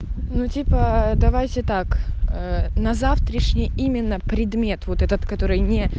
ну типа давайте так ээ на завтрашний именно предмет вот этот который не